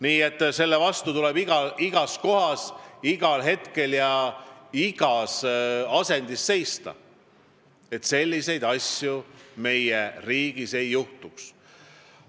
Nii et selle vastu tuleb igas kohas, igal hetkel ja igas asendis seista – selliseid asju meie riigis ei tohi juhtuda.